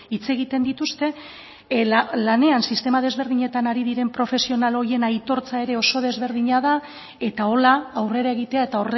hitz egiten dituzte lanean sistema desberdinetan ari den profesional horien aitortza ere oso desberdina da eta hola aurrera egitea eta